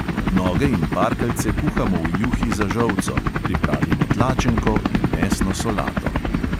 Noge in parkeljce kuhamo v juhi za žolco, pripravimo tlačenko in mesno solato.